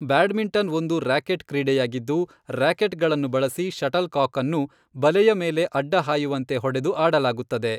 Badminton ಒಂದು racket ಕ್ರೀಡೆಯಾಗಿದ್ದು, ರ್ಯಾಕೆಟ್ಗಳನ್ನು ಬಳಸಿ ಷಟಲ್ ಕಾಕ್ಅನ್ನು ಬಲೆಯ ಮೇಲೆ ಅಡ್ಡಹಾಯುವಂತೆ ಹೊಡೆದು ಆಡಲಾಗುತ್ತದೆ.